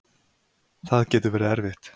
Það getur verið erfitt.